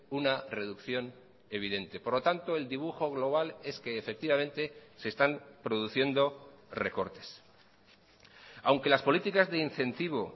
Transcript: una reducción evidente por lo tanto el dibujo global es que efectivamente se están produciendo recortes aunque las políticas de incentivo